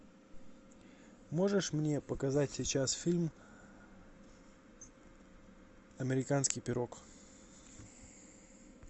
можешь мне показать сейчас фильм американский пирог